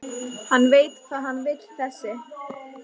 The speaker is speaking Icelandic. Hann veit hvað hann vill þessi!